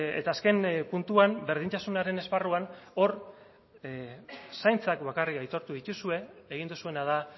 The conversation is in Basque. eta azken puntuan berdintasunaren esparruan hor zaintzak bakarrik aitortu dituzue egin duzuena da